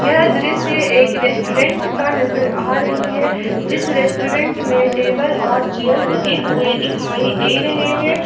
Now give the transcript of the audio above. यह दृश्य एक रेस्टोरेंट का नजर आ रही है जिस रेस्टोरेंट में टेबल और चेयर लगे हुए दिखाई दे रहे हैं।